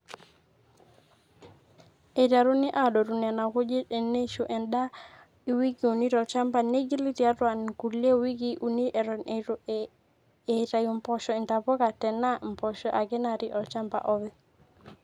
eiterruni aadotu nena kujit eneishu endaa iwikii uni tolchamba neigili tiatua nkulie wikii uni eton eitu eitau mpoosho intapoka tenaa mpoosho ake natii olchamba oopeny